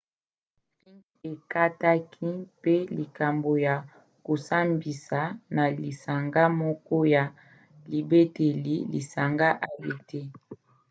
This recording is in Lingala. ring ekataki mpe likambo ya kosambisa na lisanga moko ya libateli lisanga adt